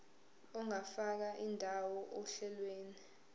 ungafaka indawo ohlelweni